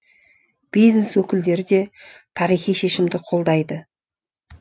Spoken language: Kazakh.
бизнес өкілдері де тарихи шешімді қолдайды